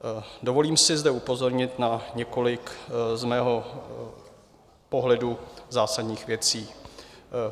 Dovolím si zde upozornit na několik z mého pohledu zásadních věcí.